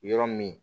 Yɔrɔ min